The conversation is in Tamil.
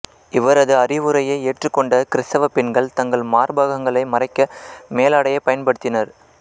இவரது அறிவுரையை ஏற்றுக்கொண்ட கிறித்தவ பெண்கள் தங்கள் மார்பகங்களை மறைக்க மேலாடையை பயன்படுத்தினர்